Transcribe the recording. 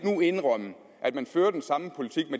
indrømme at man fører den samme politik